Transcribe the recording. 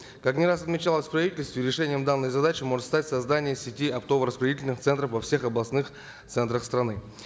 как не раз отмечалось в правительстве решением данной задачи может стать создание сети оптово распределительных центров во всех областных центрах страны